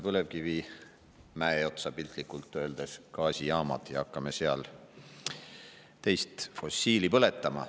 Piltlikult öeldes me ehitame põlevkivimäe otsa gaasijaamad ja hakkame seal teist fossiili põletama.